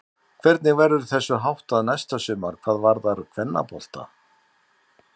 Hvernig verður þessu háttað næsta sumar hvað varðar kvennabolta?